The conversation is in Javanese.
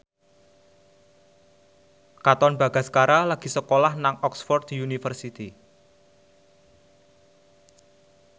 Katon Bagaskara lagi sekolah nang Oxford university